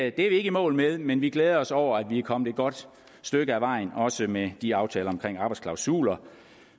ikke i mål med men vi glæder os over at vi er kommet et godt stykke ad vejen også med de aftaler om arbejdsklausuler